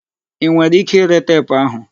I nwere ike ire teepu ahụ?